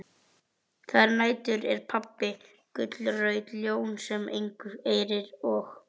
Þær nætur er pabbi gullrautt ljón sem engu eirir og